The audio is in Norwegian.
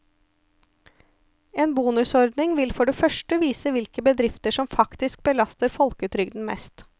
En bonusordning vil for det første vise hvilke bedrifter som faktisk belaster folketrygden mest.